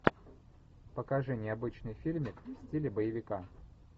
покажи необычный фильмик в стиле боевика